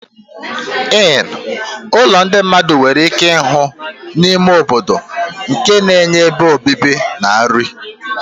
Inn ụlọ ndị mmadụ nwere ike ịhụ n'ime obodo nke na-enye ebe obibi na nri.